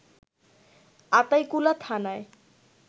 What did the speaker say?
আতাইকুলা থানায়